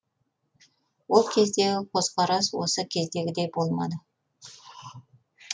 ол кездегі көзқарас осы кездегідей болмады